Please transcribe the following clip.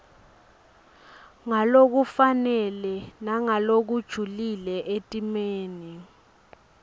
ngalokufanele nangalokujulile etimeni